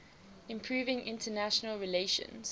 improving international relations